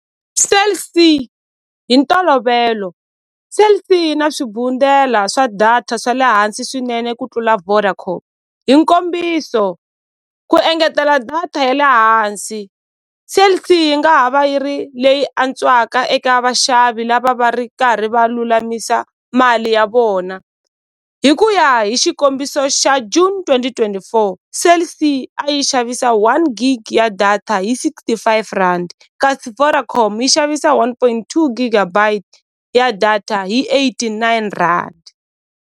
Cell C hi ntolovelo Cell C yi na swa data swa le hansi swinene ku tlula Vodacom hi nkombiso ku engetela data ya le hansi Cell C yi nga ha va yi ri leyi antswaka eka vaxavi lava va ri karhi va lulamisa mali ya vona hi ku ya hi xikombiso xa June twenty twenty four Cell C a yi xavisa one gig ya data hi sixty five rand kasi Vodacom yi xavisa one point two gigabites ya data hi eighty nine rand.